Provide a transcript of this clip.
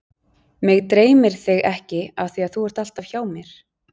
Mig dreymir þig ekki af því að þú ert alltaf hjá mér.